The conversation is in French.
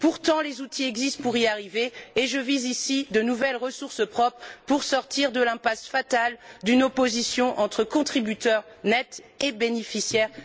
Pourtant, les outils existent pour y arriver et je vise ici de nouvelles ressources propres pour sortir de l'impasse fatale d'une opposition entre contributeurs nets et bénéficiaires nets. Il y a maintenant urgence.